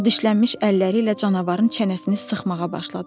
O dişlənmiş əlləri ilə canavarın çənəsini sıxmağa başladı.